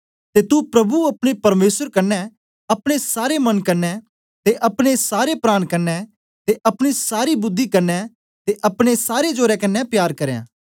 ते तू प्रभु अपने परमेसर कन्ने अपने सारे मन कन्ने ते अपने सारे प्राण कन्ने ते अपनी सारी बुद्धि कन्ने ते अपनी सारे जोरा कन्ने प्यार करयां